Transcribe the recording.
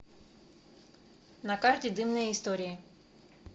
на карте дымные истории